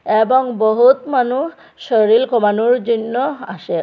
এবং বহুৎ মানু শরীল কমানোর জইন্য আসে।